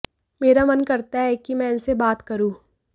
मेरा मन करता है कि मैं इनसे बात करूँ